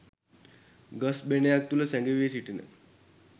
ගස් බෙනයක් තුළ සැඟවී සිටින